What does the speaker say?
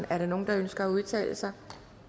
er der nogen der ønsker at udtale sig